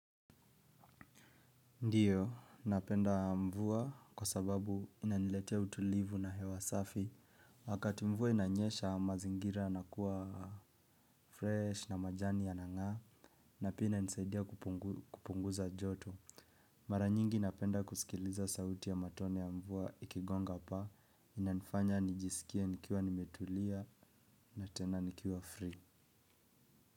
Ndiyo, napenda mvua kwa sababu inaniletea utulivu na hewa safi. Wakati mvua inanyesha mazingira yanakuwa fresh na majani yana ng'aa na pia inanisaidia kupunguza joto. Mara nyingi napenda kusikiliza sauti ya matone ya mvua ikigonga paa inanifanya nijisikia nikiwa nimetulia na tena nikiwa free.